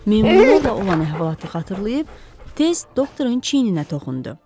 Meymunlarla olan əhvalatı xatırlayıb, tez doktorun çiyninə toxundu.